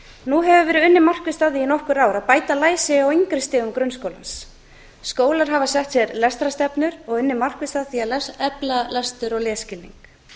nú hefur verið unnið markvisst að því í nokkur ár að bæta læsi á yngri stigum grunnskólans skólar hafa sett sér lestrarstefnur og unnið markvisst að því að efla lestur og lesskilning